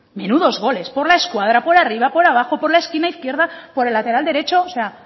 menudos goles por la escuadra por arriba por abajo por la esquina izquierda por el lateral derecho o sea